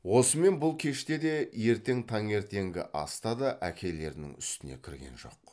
осымен бұл кеште де ертең таңертеңгі аста да әкелерінің үстіне кірген жоқ